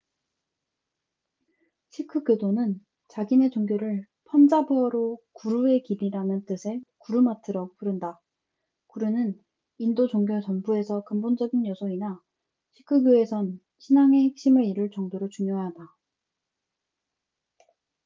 시크교도는 자기네 종교를 펀자브어로 구루의 길'이라는 뜻의 구르마트라고 부른다 구루는 인도 종교 전부에서 근본적인 요소이나 시크교에선 신앙의 핵심을 이룰 정도로 중요하다